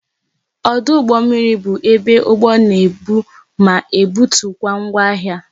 Ọdụ ụgbọ mmiri bụ ebe ụgbọ na ebu ma na-ebutu ngwa ahịa